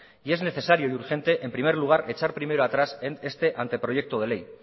y es necesario y urgente en primer lugar echar primero atrás este anteproyecto de ley